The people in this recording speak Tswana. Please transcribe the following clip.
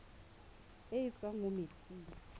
e e tswang mo metsing